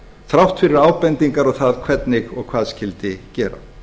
þrátt fyrir ábendingar og það hvernig og hvað skyldi gera